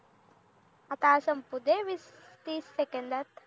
आता हा संपूदे वीस तीस सेकेंदात